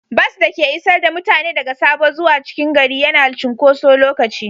Bas da ke isar da mutane daga Sabo zuwa cikin gari yana cunkoso lokaci.